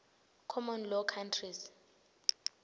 common law countries